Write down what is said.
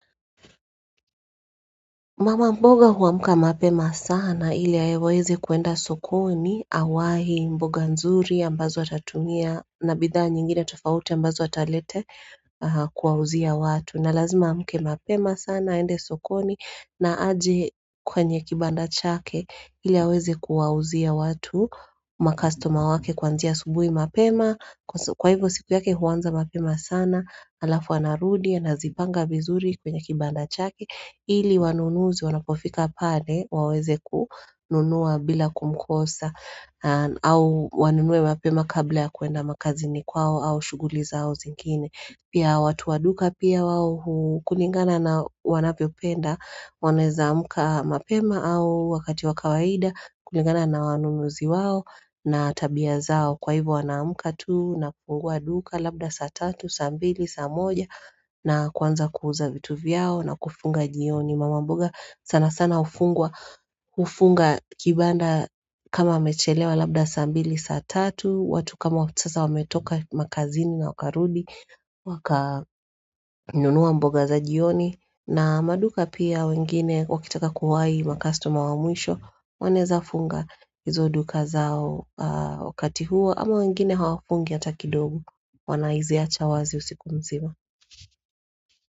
Mama mboga huamuka mapema sana ili yaeweweze kuenda sokoni, awahi, mboga nzuri ambazo watatumia na bidhaa nyingine tofauti ambazo watalete kwa uzia watu. Na lazima amke mapema sana, ende sokoni na aje kwenye kibanda chake ili yaweze kuwa uzia watu. Makastoma wake kwanzia subui mapema. Kwa hivyo siku yake huwanza mapema sana, alafu anarudia na zipanga bizuri kwenye kibanda chake. Hili wanunuzi wanapofika pade waweze kuhununua bila kumkosa au wanunue mapema kabla ya kuenda makazini kwao au shuguli zao zingine pia watu waduka pia wawo kulingana na wanapio penda waneza amuka mapema au wakati wakawaida kulingana na wanunuzi wawo na tabia zao kwa hivo wanaamka tu na kuhu waduka labda satatu, sambili, samoja na kwanza kuuza vitu vyao na kufunga jioni Mama mboga sana sana ufungwa Ufunga kibanda kama amechelewa labdasa ambili saatatu watu kama sasa wametoka makazini na wakarudi Waka inunuwa mboga za jioni na maduka pia wengine wakitaka kuwai makastoma wa muisho Wanezafunga izoduka zao wakati huo ama wengine hawafungi ataki dogu Wanaiziacha wazi usikumsima.